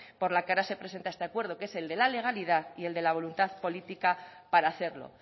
por la que ahora se presenta este acuerdo que es el de la legalidad y el de la voluntad política para hacerlo